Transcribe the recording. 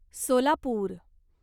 Solapur